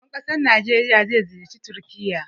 Shugaban ƙasan Najeriya zai ziyarci Turƙiyya.